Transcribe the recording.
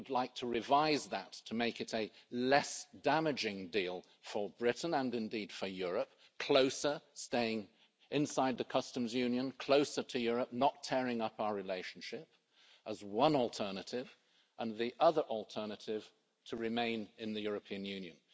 We would like to revise that to make it a less damaging deal for Britain and indeed for Europe closer, staying inside the Customs Union, closer to Europe, not tearing up our relationship as one alternative, and the other alternative to remain in the European Union.